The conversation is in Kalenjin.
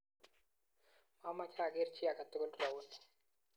mameche ageer chi age tugul rauni